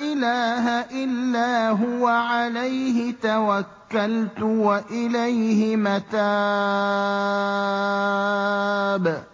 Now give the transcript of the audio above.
إِلَٰهَ إِلَّا هُوَ عَلَيْهِ تَوَكَّلْتُ وَإِلَيْهِ مَتَابِ